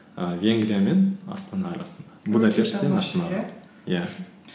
ііі венгрия мен астана арасында иә